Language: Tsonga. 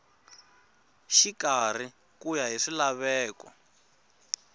xikarhi ku ya hi swilaveko